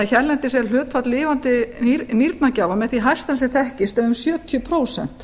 hérlendis er hlutfall lifandi nýrnagjafa með því hæsta sem þekkist eða um sjötíu prósent